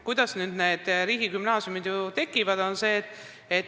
Kuidas need riigigümnaasiumid siis tekivad?